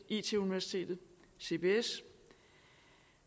it universitetet og cbs